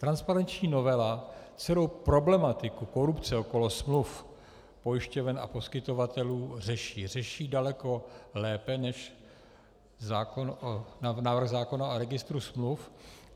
Transparenční novela celou problematiku korupce okolo smluv pojišťoven a poskytovatelů řeší, řeší daleko lépe než návrh zákona o registru smluv.